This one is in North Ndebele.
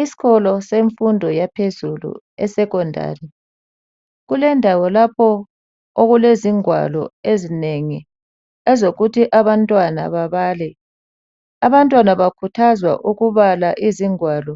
Isikolo semfundo yaphezulu esecondary kulendawo lapho okulezingwalo ezinengi ezokuthi abantwana babale ,abantwana bakhuthazwa ukubala izingwalo